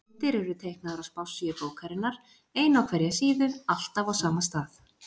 Myndir eru teiknaðar á spássíu bókarinnar, ein á hverja síðu, alltaf á sama stað.